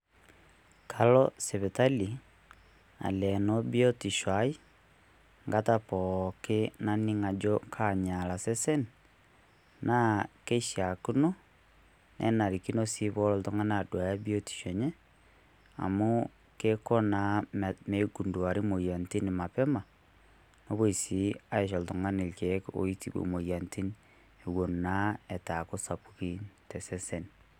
Kalo sipitali alenoo biotisho aii engata pookin naning' ajo kanyaala sesen naa keishaakino naa kenarikino sii peelo oltung'ani aduaya biotisho enye amu eiko naa meigunduari imoyiaritin Mapema nepoi sii aisho oltung'ani irkiek oitibu imoyiaritin eiton naa eitu eeku isapukin tosesen.